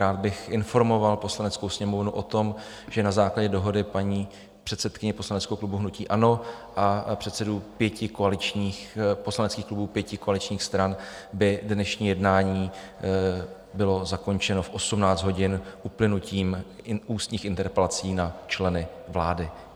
Rád bych informoval Poslaneckou sněmovnu o tom, že na základě dohody paní předsedkyně poslaneckého klubu hnutí ANO a předsedů pěti koaličních poslaneckých klubů, pěti koaličních stran, by dnešní jednání bylo zakončeno v 18 hodin uplynutím ústních interpelací na členy vlády.